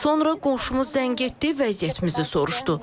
Sonra qonşumuz zəng etdi, vəziyyətimizi soruşdu.